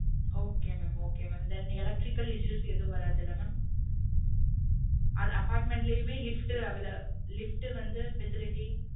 Okay mam okay mam then electrical issue எதும் வராதில்ல mam apartment லயே lift available lift வந்து facility